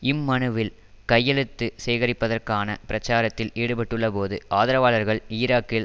இம்மனுவில் கையெழுத்து சேகரிப்பதற்கான பிரச்சாரத்தில் ஈடுபட்டுள்ளபோது ஆதரவாளர்கள் ஈராக்கில்